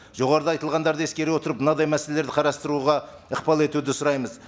жоғарыда айтылғандарды ескере отырып мынадай мәселелерді қарастыруға ықпал етуді сұраймыз